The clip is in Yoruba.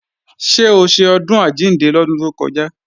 Ṣé o ṣe Ọdún Àjíǹde lọ́dún tó kọjá?